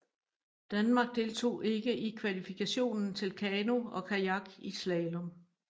Danmark deltog ikke i kvalifikationen til kano og kajak i slalom